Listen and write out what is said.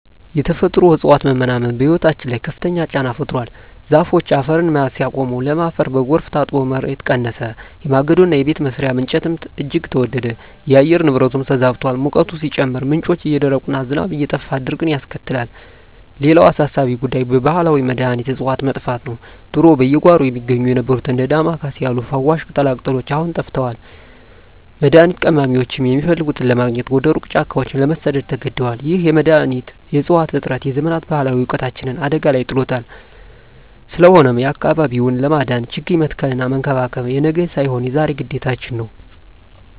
የተፈጥሮ እፅዋት መመናመን በሕይወታችን ላይ ከፍተኛ ጫና ፈጥሯል። ዛፎች አፈርን መያዝ ሲያቆሙ፣ ለም አፈር በጎርፍ ታጥቦ ምርት ቀነሰ፤ የማገዶና የቤት መስሪያ እንጨትም እጅግ ተወደደ። የአየር ንብረቱም ተዛብቷል፤ ሙቀቱ ሲጨምር፣ ምንጮች እየደረቁና ዝናብ እየጠፋ ድርቅን ያስከትላል። ሌላው አሳሳቢ ጉዳይ የባህላዊ መድኃኒት እፅዋት መጥፋት ነው። ድሮ በየጓሮው ይገኙ የነበሩት እንደ ዳማ ኬሴ ያሉ ፈዋሽ ቅጠላቅጠሎች አሁን ጠፍተዋል፤ መድኃኒት ቀማሚዎችም የሚፈልጉትን ለማግኘት ወደ ሩቅ ጫካዎች ለመሰደድ ተገደዋል። ይህ የመድኃኒት እፅዋት እጥረት የዘመናት ባህላዊ እውቀታችንን አደጋ ላይ ጥሎታል። ስለሆነም አካባቢውን ለማዳን ችግኝ መትከልና መንከባከብ የነገ ሳይሆን የዛሬ ግዴታችን ነው።